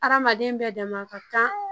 Hadamaden bɛɛ dama ka kan